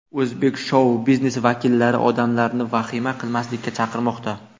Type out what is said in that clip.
O‘zbek shou-biznesi vakillari odamlarni vahima qilmaslikka chaqirmoqda.